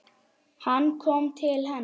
Hann kom til hennar.